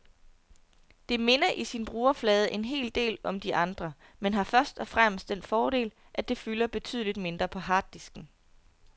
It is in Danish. Det minder i sin brugerflade en hel del om de andre, men har først og fremmest den fordel, at det fylder betydeligt mindre på harddisken.